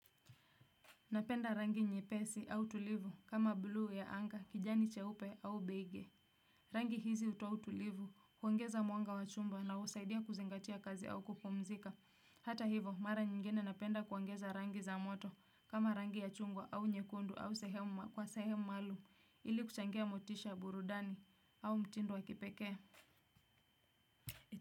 Napenda rangi nyepesi au tulivu kama buluu ya anga kijani cheupe au beige. Rangi hizi hutoa utulivu huongeza mwanga wa chumba na husaidia kuzingatia kazi au kupumzika. Hata hivo mara nyingine napenda kuongeza rangi za moto kama rangi ya chungwa au nyekundu au kwa sehemu maalum ili kuchangia motisha burudani au mtindo wa kipekee.